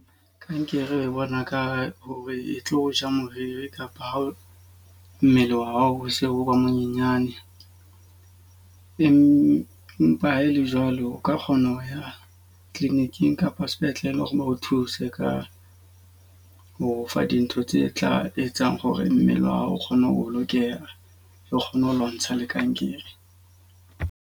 Kankere e bona ka hore e tlo ja moriri kapa ha o mmele wa hao o se o monyenyane. Empa ha e le jwalo o ka kgona ho ya clinic-ing kapa sepetleleng ho re o thuse ka ho fa dintho tse tla etsang hore mmele wa hao o kgona ho o lokela, o kgone ho lo ntsha le kankere.